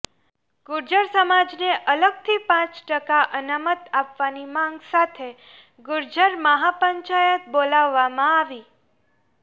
ગુર્જર સમાજને અલગથી પાંચ ટકા અનામત આપવાની માગ સાથે ગુર્જર મહાપંચાયત બોલાવવામાં આવી